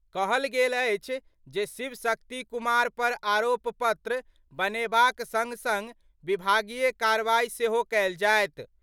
कहल गेल अछि जे शिव शक्ति कुमार पर आरोप पत्र बनेबाक संग-संग विभागीय कार्रवाई सेहो कएल जाएत।